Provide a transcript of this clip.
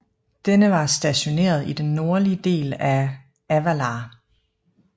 Denne var stationeret i den nordlige del af Avalar